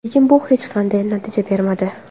Lekin bu hech qanday natija bermadi.